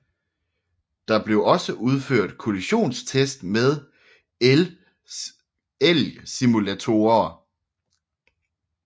Der blev også udført kollisionstests med elgsimulatorer